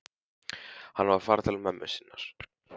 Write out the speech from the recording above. Hann á að fara til mömmu sinnar.